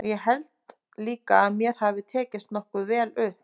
Og ég held líka að mér hafi tekist nokkuð vel upp.